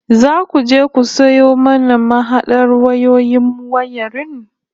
Zaku je ku sayo mana mahadar wayoyin wayarin